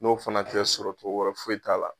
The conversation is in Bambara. N'o fana tɛ sɔrɔ cogo wɛrɛ foyi t'a la